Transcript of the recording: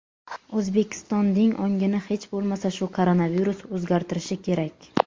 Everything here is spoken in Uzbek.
O‘zbekning ongini hech bo‘lmasa shu koronavirus o‘zgartirishi kerak.